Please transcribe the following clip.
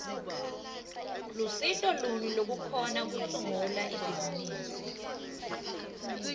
lusito luni lolukhona kusungula ibhizimisi